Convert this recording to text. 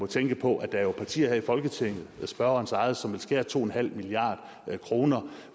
tænke på at der er et parti her i folketinget spørgerens eget som vil skære to milliard kroner